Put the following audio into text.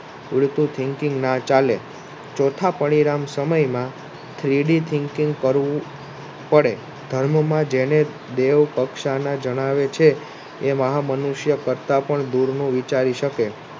ઉડતું Thinking ના ચાલે ચોથા પરિમાણ સમયમાં એ મહા મનુષ્ય કરતા પણ દૂરનું વિચારી શકે.